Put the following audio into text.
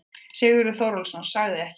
Sigurður Þórólfsson sagði ekki meira.